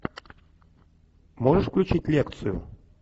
можешь включить лекцию